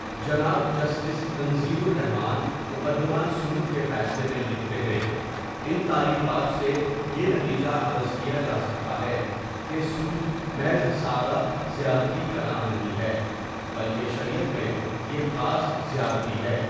جناب جسٹس تنزیل الرحمٰن مقدمہ سود کے فیصلے میں لکھتے ہیں، ان تعریفات سے یہ نتیجہ اخذ کیا جاسکتا ہے کہ سود محض سادہ زیادتی کا نام نہیں ہے بلکہ شریعت میں یہ خاص زیادتی ہے،.